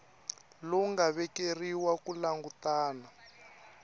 lowu nga vekeriwa ku langutana